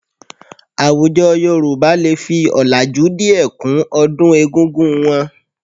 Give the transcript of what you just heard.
Àwùjọ Yorùbá lè fi ọ̀làjú díẹ̀ kún ọdún egúngún wọn